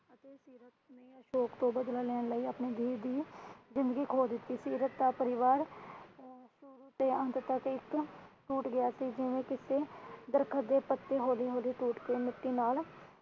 ਅਸ਼ੋਕ ਤੋਂ ਬਦਲਾ ਲੈਣ ਲਈ ਆਪਣੇ ਧੀ ਦੀ ਜਿੰਦਗੀ ਖੋ ਦਿੱਤੀ ਸੀ। ਰੱਤਾ ਪਰਿਵਾਰ ਅਮ ਸ਼ੁਰੂ ਤੋਂ ਅੰਤ ਤੱਕ ਇੱਕ ਟੁੱਟ ਗਿਆ ਸੀ ਜਿਵੇਂ ਕਿਸੇ ਦਰਖ਼ਤ ਦੇ ਪੱਤੇ ਹੌਲੀ ਹੌਲੀ ਟੁੱਟ ਕੇ ਮਿੱਟੀ ਨਾਲ